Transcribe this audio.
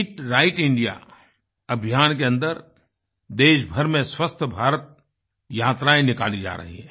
ईट right India अभियान के अन्दर देश भर में स्वस्थ भारत यात्राएं निकाली जा रही हैं